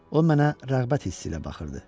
O mənə rəğbət hissi ilə baxırdı.